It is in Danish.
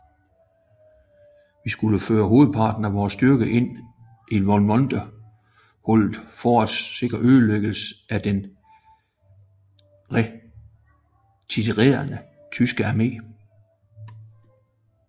Vi skulle føre hovedparten af vor styrke ind i Valmontone hullet for at sikre ødelæggelsen af den retirerende tyske armé